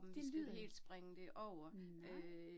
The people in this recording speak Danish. Det lyder, nej